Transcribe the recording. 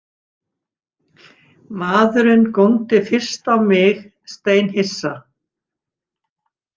Maðurinn góndi fyrst á mig steinhissa.